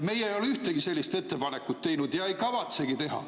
Meie ei ole ühtegi sellist ettepanekut teinud ja ei kavatsegi teha.